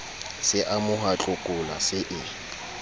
se amoha tlokola se e